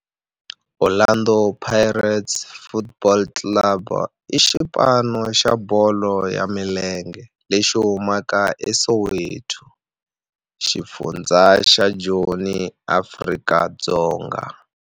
Orlando Pirates Football Club i xipano xa bolo ya milenge lexi humaka eSoweto, xifundzha xa Joni, Afrika-Dzonga.